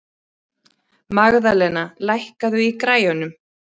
Magðalena, lækkaðu í græjunum.